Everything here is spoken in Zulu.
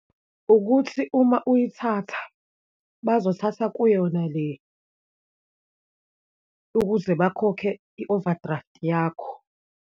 Ukuthi uma uyithatha, bazothatha kuyona le, ukuze bakhokhe i-overdraft yakho.